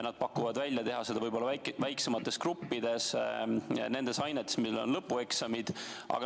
Nad pakuvad välja teha seda võib-olla väiksemates gruppides ja just nendes ainetes, milles on lõpueksamid.